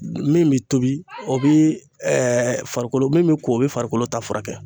Min bi tobi o bi farikolo min ko o be farikolo ta furakɛ